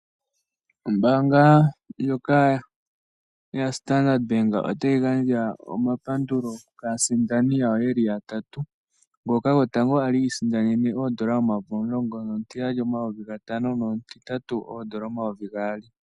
Ombaanga ndjoka yaStandard Bank otayi gandja omapandulo kaasindani yawo yatatu, moka omusindani gotango a li isindanene ooN$ 10 000, omutiyali N$ 5000 nomutitatu N$ 2000.